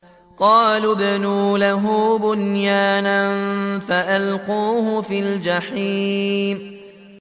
قَالُوا ابْنُوا لَهُ بُنْيَانًا فَأَلْقُوهُ فِي الْجَحِيمِ